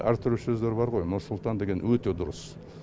әртүрлі сөздер бар ғой нұр сұлтан деген өте дұрыс